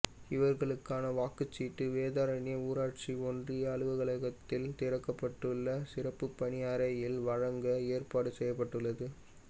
இவா்களுக்கான வாக்குச் சீட்டுகள் வேதாரண்யம் ஊராட்சி ஒன்றிய அலுவலகத்தில் திறக்கப்பட்டுள்ள சிறப்பு பணி அறையில் வழங்க ஏற்பாடு செய்யப்பட்டுள்ளது